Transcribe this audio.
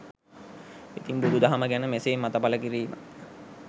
ඉතින් බුදු දහම ගැන මෙසේ මත පල කිරීම